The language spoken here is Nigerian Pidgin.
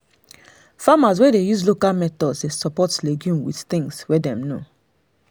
farmers wey dey use local methods dey support legumes with the things wey dem know